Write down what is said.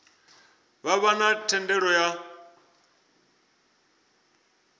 vha vha na thendelo ya